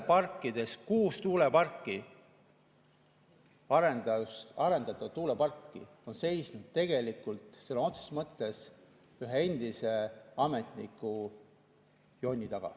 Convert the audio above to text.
Kuus tuuleparki, arendatud tuuleparki on seisnud sõna otseses mõttes ühe endise ametniku jonni taga.